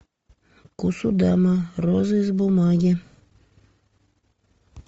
кусудама роза из бумаги